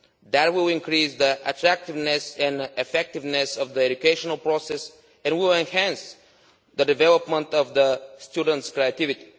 That will increase the attractiveness and effectiveness of the educational process and will enhance the development of students' creativity.